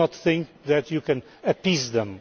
Do not think that you can appease them.